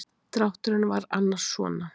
Drátturinn var annars svona.